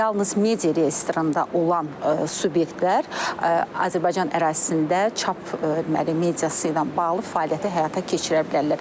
Yalnız media reyestrində olan subyektlər Azərbaycan ərazisində çap deməli mediası ilə bağlı fəaliyyətə həyata keçirə bilərlər.